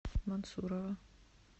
мансурова